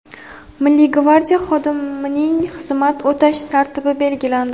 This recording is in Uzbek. Milliy gvardiya xodimining xizmat o‘tash tartibi belgilandi.